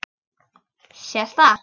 Sést það?